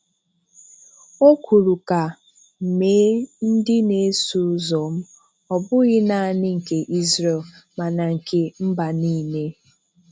O kwuru ka "mee ndị na-eso ụzọ m," Ọ bụghị nanị nke Israel, mana nke mba nile.